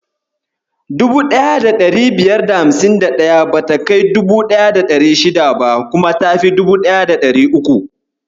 1551 bata kai 1600 ba, kuma tafi 1300.